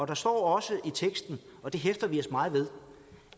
der står også i teksten og det hæfter vi os meget ved